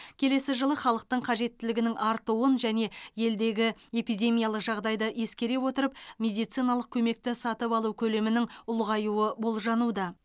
келесі жылы халықтың қажеттілігінің артуын және елдегі эпидемиялық жағдайды ескере отырып медициналық көмекті сатып алу көлемінің ұлғаюы болжануда